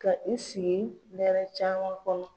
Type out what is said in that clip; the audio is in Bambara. Ka i sigi ne nɛrɛ caman kɔnɔ.